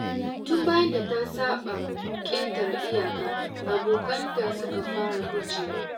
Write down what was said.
Tun bayan da ta saba ƙetare iyaka, abokanta suka fara gujewa.